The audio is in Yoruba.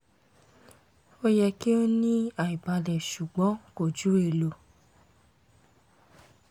o yẹ ki o ni aibalẹ ṣugbọn ko ju elo